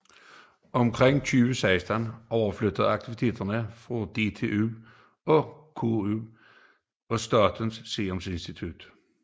Omkring 2016 overflyttedes aktiviteterne fra DTU til KU og Statens Seruminstitut